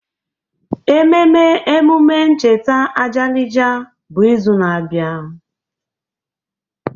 Ememe emume ncheta Ajalija bụ izu na-abịa.